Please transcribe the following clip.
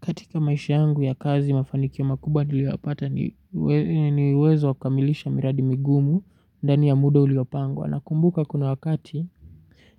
Katika maisha yangu ya kazi mafanikio makubwa niliyapata ni uwezo wa kukamilisha miradi migumu ndani ya muda uliopangwa nakumbuka kuna wakati